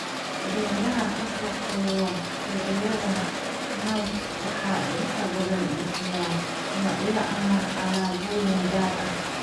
Beeraha ka shaqeeya suuqyada niche waxay inta badan bixiyaan noocyo ama alaabooyin gaar ah.